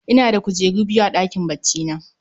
Ina da kujeru biyu a ɗakin baccina